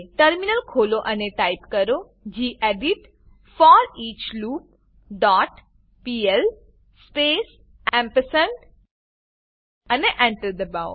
terminal ખોલો અને type કરો gedit foreach loop dot pl space ampersand અને Enter દબાવો